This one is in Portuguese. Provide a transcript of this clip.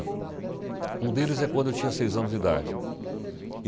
Um deles é quando eu tinha seis anos de idade.